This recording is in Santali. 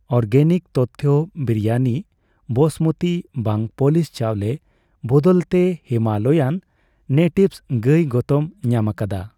ᱚᱨᱜᱮᱱᱤᱠ ᱛᱚᱛᱛᱷᱚ ᱵᱤᱨᱤᱭᱟᱱᱤ ᱵᱟᱸᱥᱢᱚᱛᱤ ᱵᱟᱝ ᱯᱟᱹᱞᱤᱥ ᱪᱟᱣᱞᱮ ᱵᱚᱫᱚᱞ ᱛᱮ ᱦᱤᱢᱟᱞᱟᱭᱟᱱ ᱱᱮᱴᱤᱵᱷᱥ ᱜᱟᱹᱭ ᱜᱚᱛᱚᱢ ᱧᱟᱢᱟᱠᱟᱫᱟ